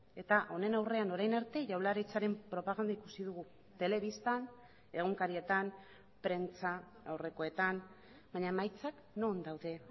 eta honen aurrean orain arte jaurlaritzaren propaganda ikusi dugu telebistan egunkarietan prentsaurrekoetan baina emaitzak non daude